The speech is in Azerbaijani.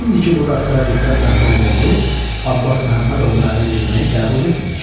İndiki bu bəxtəvərlikdən məhrum olduq, Abbas Məhəmmədoğluna ərə getməyi qəbul etmirik.